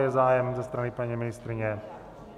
Je zájem ze strany paní ministryně?